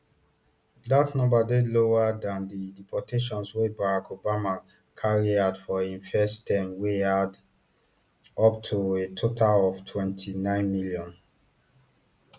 dat number dey lower dan di deportations wey barack obamas carry out for im first term wey add up to a total of twenty-nine million